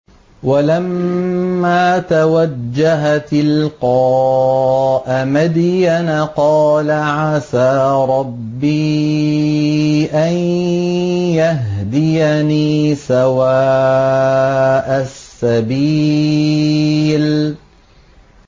وَلَمَّا تَوَجَّهَ تِلْقَاءَ مَدْيَنَ قَالَ عَسَىٰ رَبِّي أَن يَهْدِيَنِي سَوَاءَ السَّبِيلِ